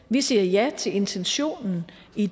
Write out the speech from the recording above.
vi siger ja til intentionen i